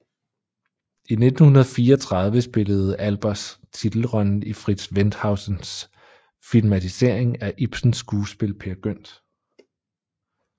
I 1934 spillede Albers titelrollen i Fritz Wendhausens filmatisering af Ibsens skuespil Peer Gynt